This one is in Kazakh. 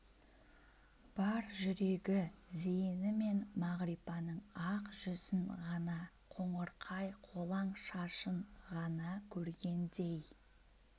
бар жүрегі зейінімен мағрипаның ақ жүзін ғана қоңырқай қолаң шашын ғана көргендей